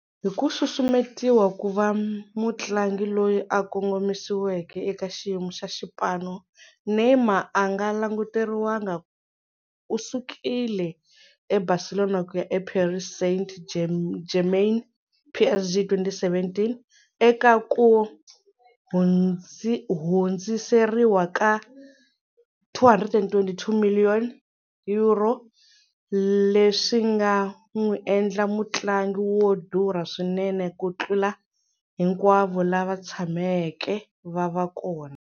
Hiku susumetiwa kuva mutlangi loyi a kongomisiweke eka xiyimo xa xipano, Neymar anga languteriwanga u sukile eBarcelona kuya e Paris Saint-Germain PSG, hi 2017 eka ku hundziseriwa ka 222 million euro, leswinga n'wi endla mutlangi wo durha swinene ku tlula hinkwavo lava tshameke vava kona.